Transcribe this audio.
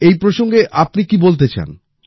এই প্রসঙ্গে আপনি কি বলতে চান